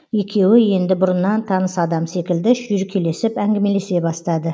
екеуі енді бұрыннан таныс адам секілді шүйіркелесіп әңгімелесе бастады